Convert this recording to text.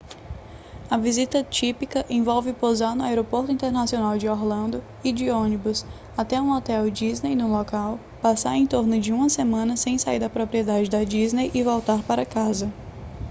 a visita típica envolve pousar no aeroporto internacional de orlando ir de ônibus até um hotel disney no local passar em torno de uma semana sem sair da propriedade da disney e voltar para casa